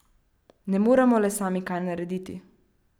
Ne moremo le sami kaj narediti.